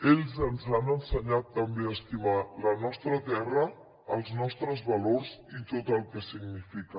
ells ens han ensenyat també a estimar la nostra terra els nostres valors i tot el que significa